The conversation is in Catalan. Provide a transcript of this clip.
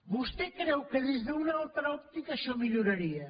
vostè creu que des d’una altra òptica això milloraria